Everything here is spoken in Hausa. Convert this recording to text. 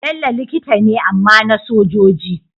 Bello likita ne amma na sojoji